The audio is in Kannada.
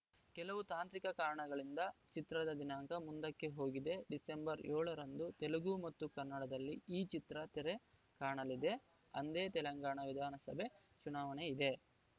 ಕೆಲವು ತಾಂತ್ರಿಕ ಕಾರಣಗಳಿಂದ ಚಿತ್ರದ ದಿನಾಂಕ ಮುಂದಕ್ಕೆ ಹೋಗಿದೆ ಡಿಸೆಂಬರ್‌ ಏಳು ರಂದು ತೆಲುಗು ಮತ್ತು ಕನ್ನಡದಲ್ಲಿ ಈ ಚಿತ್ರ ತೆರೆ ಕಾಣಲಿದೆ ಅಂದೇ ತೆಲಂಗಾಣ ವಿಧಾನಸಭೆ ಚುನಾವಣೆಯಿದೆ